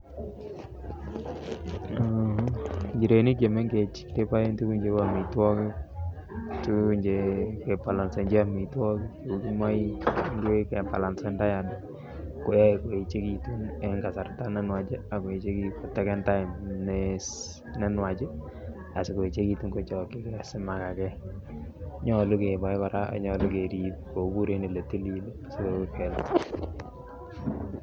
Njirenik Che mengech keboen tuguk cheu amitwogik tuguk Che kebolonsenchi amitwogik kou kimoik kou kebalancen diat ko yoe koechekitun en kasarta ne nwach ak koib kasarta ne nwach asi koechekitun kochokyi asi komakage nyolu keboe kora nyolu kerib kobur en Ole tilil asi kobendat